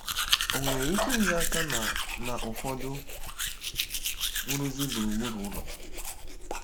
Ọ nwere ike inye aka na na ụfọdụ nrụzi gburugburu ụlọ?